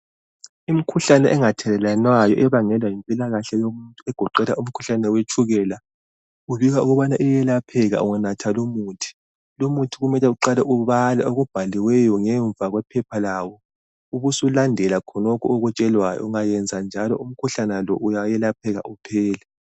Imikhuhlane engathelelwanayo ebangelwa yimpilakahle yomuntu egoqela umkhuhlane wetshukela. Kubikwa uyelapheka unganatha umuthi. Lumuthi kumele uqale ubhale okubhalwe ngemva kwephepha lawo ubusulandela khonokho okutshelwayo. Ungayenza njalo umkhuhlane wonalo ungelapheka uphele.